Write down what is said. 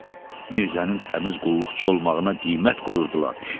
Mirzənin təmiz qulluqçu olmağına qiymət qoyurdular.